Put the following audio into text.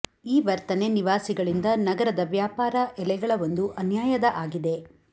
ಈ ವರ್ತನೆ ನಿವಾಸಿಗಳಿಂದ ನಗರದ ವ್ಯಾಪಾರ ಎಲೆಗಳ ಒಂದು ಅನ್ಯಾಯದ ಆಗಿದೆ